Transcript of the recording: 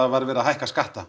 var verið að hækka skatta